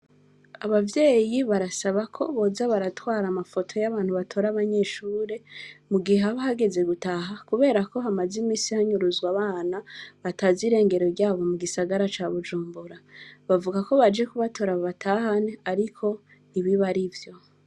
Abavyeyi barasaba ko boza baratwara amafoto y'abantu batora abanyeshure mu gihe haba hageze gutaha kubera ko hamaze iminsi hanyuruzwa abana batazi irengero ryabo mu gisagara ca Bujumbura. Bavuga ko baje kubatora babatahane ariko ntibiba arivyo.